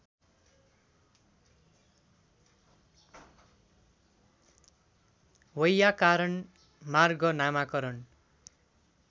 वैयाकरण मार्ग नामाकरण